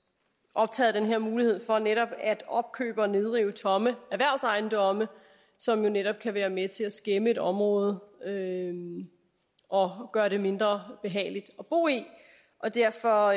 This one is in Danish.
optaget af den her mulighed for netop at opkøbe og nedrive tomme erhvervsejendomme som jo netop kan være med til at skæmme et område og gøre det mindre behageligt at bo i og derfor